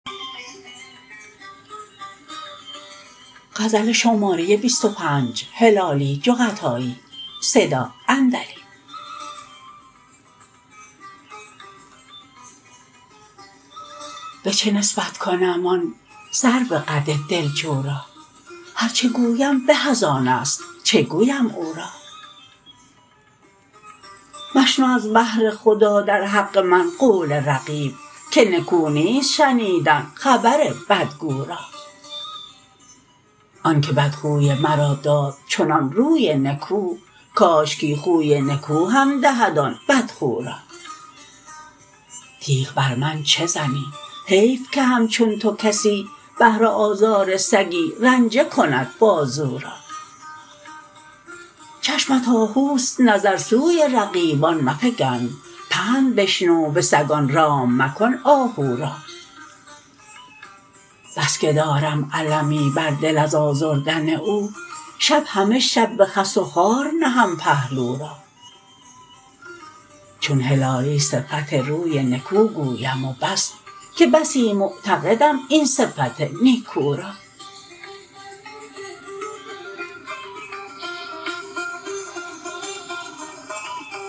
بچه نسبت کنم آن سرو قد دلجو را هر چه گویم به از آنست چه گویم او را مشنو از بهر خدا در حق من قول رقیب که نکو نیست شنیدن خبر بد گو را آنکه بد خوی مرا داد چنان روی نکو کاشکی خوی نکوهم دهد آن بد خو را تیغ بر من چه زنی حیف که همچون تو کسی بهر آزار سگی رنجه کند بازو را چشمت آهوست نظر سوی رقیبان مفگن پند بشنو بسگان رام مکن آهو را بسکه دارم المی بر دل از آزردن او شب همه شب به خس و خار نهم پهلو را چون هلالی صفت روی نکو گویم و بس که بسی معتقدم این صفت نیکو را